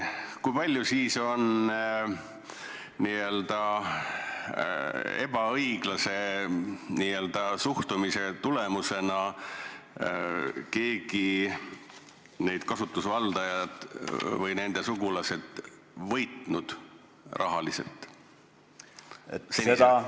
Aga kui palju on selle ebaõiglase kohtlemise tulemusena need kasutusvaldajad või nende sugulased rahas võitnud?